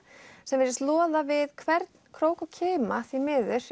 sem virðist loða við hvern krók og kima því miður